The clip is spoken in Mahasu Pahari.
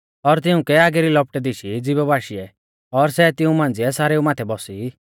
और तिउंकै आगी री लपटै दिशी ज़िभा बाशीऐ और सै तिऊं मांझ़िऐ सारेऊ माथै बौसी